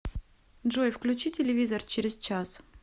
джой включи телевизор через час